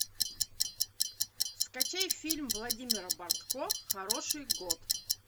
скачай фильм владимира бартко хороший год